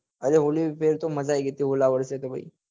ઓલે ફેર તો મજા આયી ગઈ હતી ઓલા વરસે તો ભાઈ